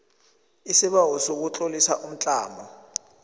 isibawo sokutlolisa umtlamo